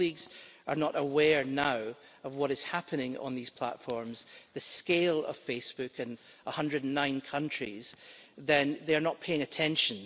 If colleagues are not aware now of what is happening on these platforms, the scale of Facebook in 109 countries, then they're not paying attention.